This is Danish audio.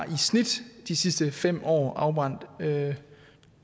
i snit de sidste fem år har afbrændt